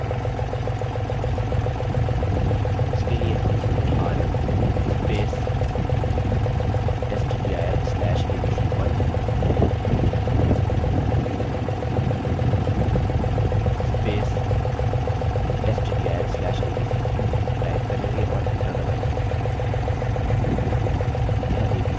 इसके लिए rm rm testdir/abc1 testdir/abc2 type करेंगे और enter दबायेंगे